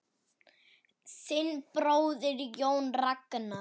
Þinn bróðir, Jón Ragnar.